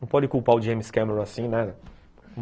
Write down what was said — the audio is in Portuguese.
Não pode culpar o James Cameron assim, né?